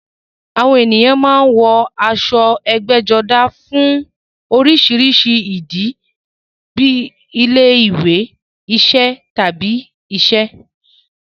Àwọn ènìyàn máa ń wọ aṣọ ẹgbẹ́jọdá fún oríṣiríṣi ìdí, bíi ilé-ìwé, iṣẹ́, tàbí iṣẹ́.